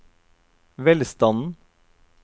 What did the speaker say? velstanden